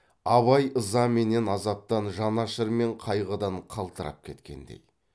абай ыза менен азаптан жанашыр мен қайғыдан қалтырап кеткендей